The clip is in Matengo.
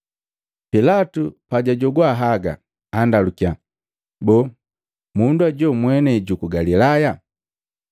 Pilatu pajajogwa haga, andalukiya, “Boo, mundu hoju mwenei juku Galilaya?”